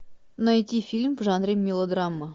найти фильм в жанре мелодрама